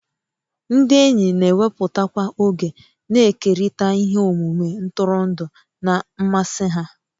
Ndị enyi na-ewepụtakwa oge na-ekerịta ihe omume ntụrụndụ na mmasị ha